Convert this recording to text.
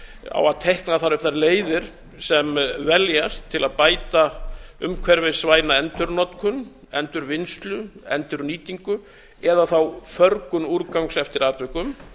á að teikna þar upp þær leiðir sem veljast til að bæta umhverfisvæna endurnotkun endurvinnslu endurnýtingu eða förgun úrgangs eftir atvikum